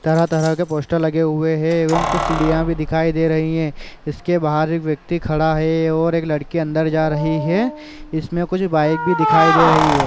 तरह-तरह के पोस्टर लगे हुए है एवं कुछ सीढिया भी दिखाई दे रही है इसके बाहर एक व्यक्ति खड़ा है और एक लड़की अंदर जा रही है इसमें कुछ बाइक भी दिखाई दे रही है।